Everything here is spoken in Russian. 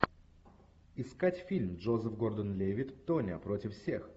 искать фильм джозеф гордон левитт тоня против всех